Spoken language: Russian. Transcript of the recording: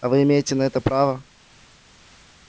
а вы имеете на это право